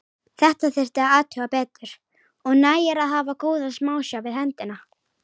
Þetta þyrfti að athuga betur og nægir að hafa góða smásjá við hendina.